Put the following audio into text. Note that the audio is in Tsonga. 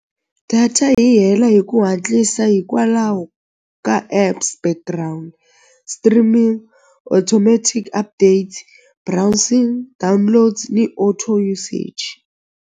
Data yi hela hi ku hatlisa hikwalaho ka apps background streaming automatic update browsing downloads ni auto usage.